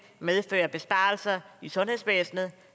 medføre besparelser i sundhedsvæsenet